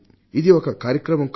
ఇది ఒక కార్యక్రమం కాదు